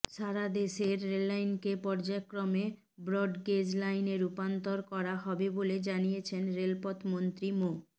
সারাদেশের রেললাইনকে পর্যায়ক্রমে ব্রডগেজ লাইনে রুপান্তর করা হবে বলে জানিয়েছেন রেলপথ মন্ত্রী মো